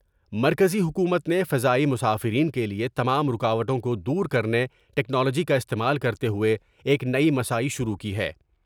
مرکزی حکومت نے فضائی مسافرین کے لیے تمام رکاوٹوں کو دور کر نے ٹکنالوجی کا استعمال کرتے ہوئے ایک نئی مساعی شروع کی ہے ۔